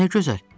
Nə gözəl.